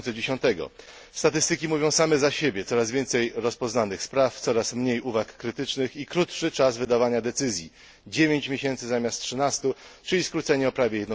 2010. Statystyki mówią same za siebie coraz więcej rozpoznanych spraw, coraz mniej uwag krytycznych i krótszy czas wydawania decyzji 9 miesięcy zamiast 13, czyli skrócenie o prawie